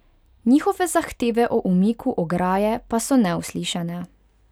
Njihove zahteve o umiku ograje pa so neuslišane.